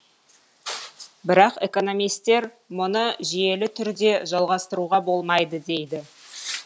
бірақ экономистер мұны жүйелі түрде жалғастыруға болмайды дейді